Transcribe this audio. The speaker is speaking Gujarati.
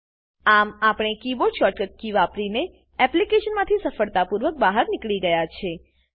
આમ આપણે કીબોર્ડ શોર્ટકટ કી વાપરીને એપ્લીકેશનમાંથી સફળતાપૂર્વક બહાર નીકળી ગયા છીએ